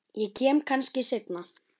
Ég kem kannski seinna